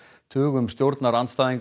tugum stjórnarandstæðinga